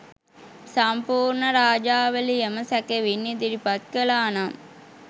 සම්පුර්ණ රාජාවලියම සැකෙවින් ඉදිරිපත් කලානම්